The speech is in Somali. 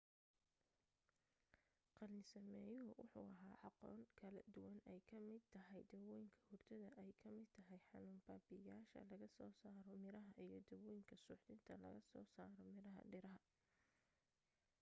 qaalin sameyuhu wuxuu laha aqoon kala duwan ay ka mid tahay daawooyinka hurdada ay ka mid tahay xanuun babi'ishaya laga soo saro miraha iyo daawooyinka suuxdinta laga soo sarayo miraha dhiraha